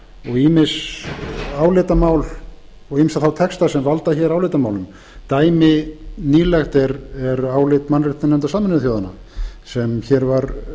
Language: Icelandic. ýmis álitamál og ýmsa þá texta sem valda hér álitamálum dæmi nýlegt er álit mannréttindanefndar sameinuðu þjóðanna sem hér var